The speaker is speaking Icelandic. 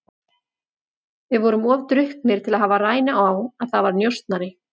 Við vorum of drukknir til að hafa rænu á að þar var njósnari.